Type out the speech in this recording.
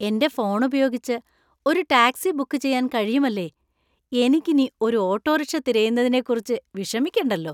എന്‍റെ ഫോൺ ഉപയോഗിച്ച് ഒരു ടാക്സി ബുക്ക് ചെയ്യാൻ കഴിയുമല്ലേ! എനിക്കിനി ഒരു ഓട്ടോറിക്ഷ തിരയുന്നതിനെക്കുറിച്ച് വിഷമിക്കണ്ടല്ലോ.